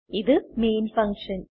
ഇത് main function